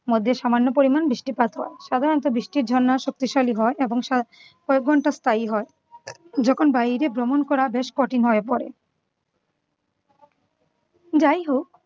মধ্যে সামান্য পরিমাণ বৃষ্টিপাত হয় । সাধারণত বৃষ্টির ঝর্ণা শক্তিশালী হয় এবং সা~ কয়েক ঘন্টা স্থায়ী হয়। যখন বাইরে ভ্রমণ করা বেশ কঠিন হয়ে পড়ে যাইহোক